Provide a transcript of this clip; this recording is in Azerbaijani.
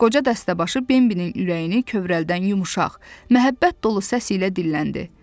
Qoca Dəstəbaşı Bembinin ürəyini kövrəldən yumşaq, məhəbbət dolu səs ilə dilləndi.